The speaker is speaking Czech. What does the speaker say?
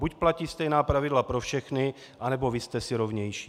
Buď platí stejná pravidla pro všechny, anebo vy jste si rovnější.